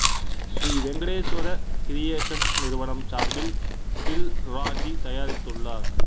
Sri Venkateswara Creations நிறுவனம் சார்பில் தில் ராஜூ தயாரித்துள்ளார்